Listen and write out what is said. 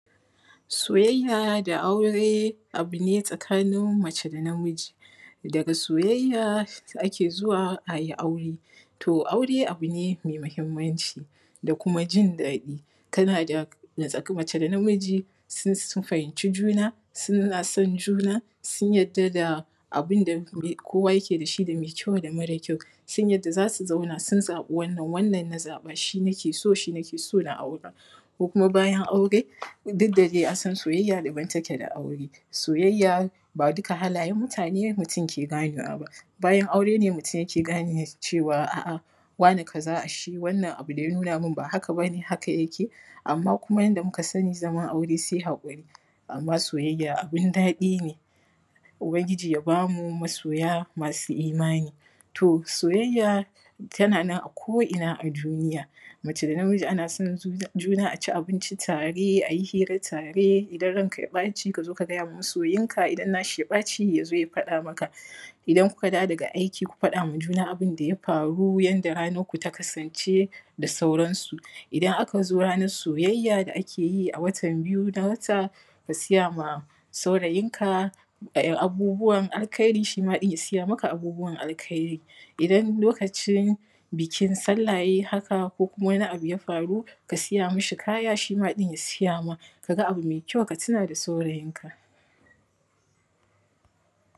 Soyayya da aure abu ne a tsakanin mace da namiji. Daga soyayya ake zuwa ayi aure. To aure abu ne mai muhimmanci, da kuma jin daɗin. Kana da natsa mace da namiji sun fahimci juna suna son juna. Sun yarda da abun da kowa yake da shi da mai kyau da mara kyau. Sun yarda zasu zauna sun zaɓi wannan, wannan na zaɓa shi nake so. Shi nake so na aura ko kuma bayan aure duk da dai an san soyayya daban take da aure. Soyayya ba duka halayen mutane mutum ke ganewa ba. Bayan aure ne mutum ke gane cewa a'a wane kaza ashe wannan abu da ya nuna min ba haka ba ne. Haka yake. Amma kuma yanda muka sani zaman aure sai haƙuri. Amma soyayya abun daɗi ne, ubangiji ya ba mu masoya masu imani. To soyayya tana nan a ko’ina a duniya. Mace da namiji ana son juna a ci abinci tare. Ayi hira tare idan ranka ya ɓaci ka zo ka gayawa masoyinka idan na shi ya ɓaci ya zo ya faɗa maka. Idan ku ka dawo daga aiki ku faɗawa juna abun da ya faru yanda ranar ku ta kasance da sauransu. Idan aka zo ranar soyayya da ake yi a watan biyu na wata, ka siyawa saurayinka abubuwan alkairi shi ma ɗin ya siya maka abubuwan alkairi. Idan lokacin bikin sallah ya yi haka ko kuma wani abu ya faru, ka siya mishi kayan, shj ma ɗin ya siya ma. Kaga abu mai kyau ka tuna da saurayinka.